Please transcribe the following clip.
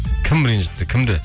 кім ренжітті кімді